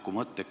Suur tänu!